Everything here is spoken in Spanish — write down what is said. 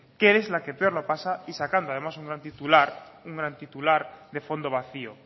que es la que peor lo pasa y sacando además un gran titular de fondo vacío